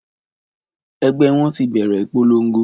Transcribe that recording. Ẹgbẹ́ wọn ti bẹ̀rẹ̀ ìpolongo